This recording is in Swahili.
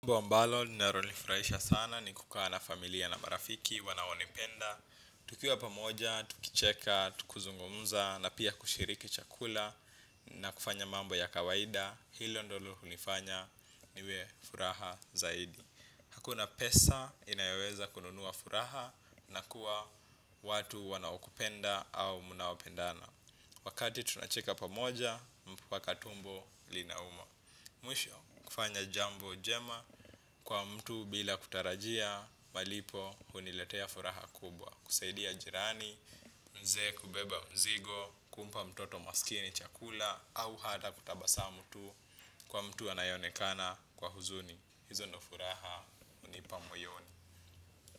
Jambo ambalo, linalonifurahisha sana ni kukaa na familia na marafiki wanaonipenda. Tukiwa pamoja, tukicheka, tuki zungumza na pia kushiriki chakula na kufanya mambo ya kawaida, hilo ndilo hunifanya niwe furaha zaidi. Hakuna pesa inayeweza kununuwa furaha na kuwa watu wanaokupenda au mnaopendana. Wakati tunacheka pamoja, mpaka tumbo linauma. Mwisho kufanya jambo jema kwa mtu bila kutarajia malipo huniletea furaha kubwa. Kusaidia jirani, mzee kubeba mzigo, kumpa mtoto maskini chakula au hata kutabasamu tu kwa mtu anayonekana kwa huzuni. Hizo ni furaha hunipa mwoyoni.